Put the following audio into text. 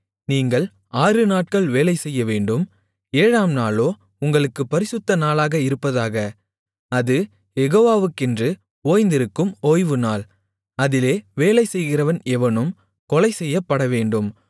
நீங்கள் ஆறுநாட்கள் வேலைசெய்யவேண்டும் ஏழாம் நாளோ உங்களுக்குப் பரிசுத்த நாளாக இருப்பதாக அது யெகோவாவுக்கென்று ஓய்ந்திருக்கும் ஓய்வுநாள் அதிலே வேலைசெய்கிறவன் எவனும் கொலைசெய்யப்படவேண்டும்